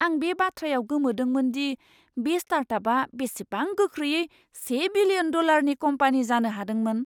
आं बे बाथ्रायाव गोमोदोंमोन दि बे स्टार्टआपआ बेसेबां गोख्रैयै से बिलियन डलारनि कम्पानि जानो हादोंमोन!